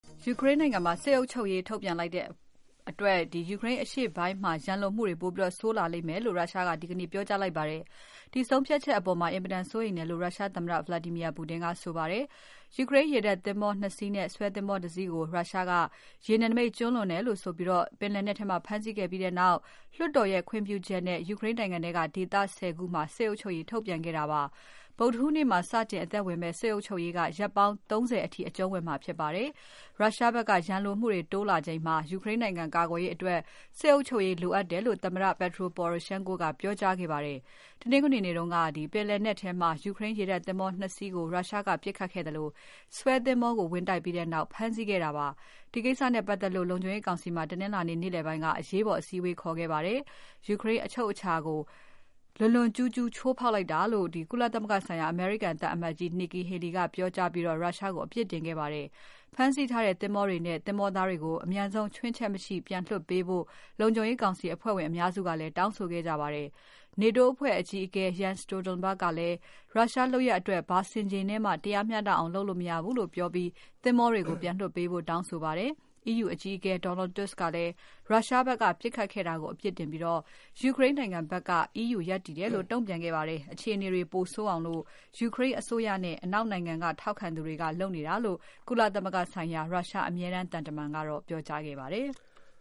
ယူကရိန်းနိုင်ငံမှာ စစ်အုပ်ချုပ်ရေးထုတ်ပြန်လိုက်တဲ့အတွက် ယူကရိန်းအရှေ့ပိုင်းမှာ ရန်လိုမှုတွေပိုဆိုးလာလိမ့်မယ်လို့ ရုရှားက ဒီကနေ့ ပြောကြားလိုက်ပါတယ်။ ယူကရိန်းရေတပ်သင်္ဘော ၂ စီးနဲ့ဆွဲသင်္ဘောတစီးကို ရုရှားက ရေနယ်နိမိတ်ကျူးလွန်တယ်လို့ဆိုပြီး ပင်လယ်နက်ထဲမှာ ဖမ်းဆီးခဲ့ပြီးနောက် လွှတ်တော်ရဲ့ခွင့်ပြုချက်နဲ့ ယူကရိန်းနိုင်ငံထဲက ဒေသ ၁၀ ခုမှာ စစ်အုပ်ချုပ်ရေးထုတ်ပြန်ခဲ့တာပါတယ်။ ဗုဒ္ဓဟူးနေ့မှာ စတင်အသက်ဝင်မယ့် စစ်အုပ်ချုပ်ရေးက ရက်ပေါင်း ၃၀ အထိအကျုံးဝင်မှာဖြစ်ပါတယ်။ ရုရှားဖက်က ရန်လိုမှုတွေ တိုးလာချိန်မှာ ယူကရိန်းနိုင်ငံကာကွယ်ရေးအတွက် စစ်အုပ်ချုပ်ရေးလိုအပ်တယ်လို့ သမ္မတ Petro Poroshenko ကပြောကြားခဲ့ပါတယ်။ တနင်္ဂနွေနေ့တုန်းက ပင်လယ်နက်ထဲမှာ ယူကရိန်းရေတပ်သင်္ဘော ၂ စီးကို ရုရှားကပစ်ခတ်ခဲ့သလို ဆွဲသင်္ဘောကို ဝင်တိုက်ပြီးနောက် ဖမ်းဆီးခဲ့တာဖြစ်ပါတယ်။ ဒီကိစ္စနဲ့ပါတ်သက်လို့ လုံခြုံရေးကောင်စီမှာ တနင်္လာနေ့ နေ့လည်ပိုင်းက အရေးပေါ် အစည်းအဝေးခေါ်ခဲ့ပါတယ်။ ယူကရိန်းအချုပ်အခြာကို လွန်လွန်ကျူးကျူး ချိုးဖောက်လိုက်တာဖြစ်တယ်လို့ ကုလသမဂ္ဂဆိုင်ရာ အမေရိကန်သံအမတ်ကြီး Nikki Haley ကပြောကြားပြီး ရုရှားကို အပြစ်တင်ခဲ့ပါတယ်။ ဖမ်းဆီးထားတဲ့သင်္ဘောတွေနဲ့ သင်္ဘောသားတွေကို အပြန်ဆုံးချွင်းချက်မရှိပြန်လွှတ်ပေးဖို့ လုံခြုံရေးကောင်စီ အဖွဲ့ဝင်အများစုက တောင်းဆိုခဲ့ကြပါတယ်။ နေတိုးအဖွဲ့အကြီးအကဲ Jens Stoltenberg ကလည်း ရုရှားလုပ်ရပ်အတွက် ဘာဆင်ခြေနဲ့မှ တရားမျှတအောင် လုပ်လို့မရဘုူးလို့ပြောပြီး သင်္ဘောတွေကို ပြန်လွှတ်ပေးဖို့ တောင်းဆိုပါတယ်။ EU အကြီးအကဲ Donald Tusk ကလည်း ရုရှားဖက်က ပစ်ခတ်ခဲ့တာကို အပြစ်တင်ပြီး ယူကရိန်းနိုင်ငံဖက်က EU ရပ်တည်တယ်လို့ တုံ့ပြန်ခဲ့ပါတယ်။ အခြေအနေတွေပိုဆိုးအောင် ယူကရိန်းအစိုးရနဲ့ အနောက်နိုင်ငံက ထောက်ခံသူတွေက လုပ်နေတာလို့ ကုလသမဂ္ဂဆိုင်ရာ ရုရှား အမြဲတမ်းသံတမန်က ပြောကြားခဲ့ပါတယ်။